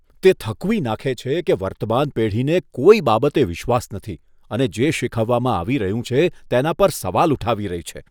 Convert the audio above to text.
તે થકવી નાંખે છે કે વર્તમાન પેઢીને કોઈ બાબતે વિશ્વાસ નથી અને જે શીખવવામાં આવી રહ્યું છે તેના પર સવાલ ઉઠાવી રહી છે.